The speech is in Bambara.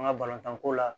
An ka balontan ko la